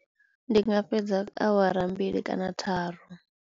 Ndi nga fhedza awara mbili kana tharu.